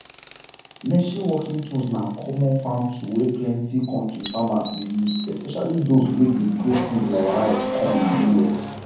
machine working tools na common farm tool wey plenty kontri farmers dey use especially those wey dey grow things like rice corn and millet